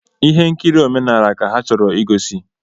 Ihe nkiri omenala ka a chọrọ ịgosi